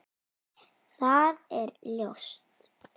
Það er ljóst.